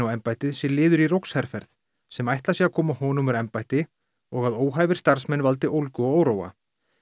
á embættið sé liður í rógsherferð sem ætlað sé að koma honum úr embætti og að óhæfir starfsmenn valdi ólgu og óróa